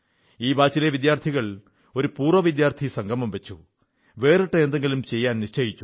ഈ ബാച്ചിലെ വിദ്യാർഥികൾ ഒരു പൂർവ്വ വിദ്യാർഥി സംഗമം വച്ചു വേറിട്ട എന്തെങ്കിലും ചെയ്യാൻ നിശ്ചയിച്ചു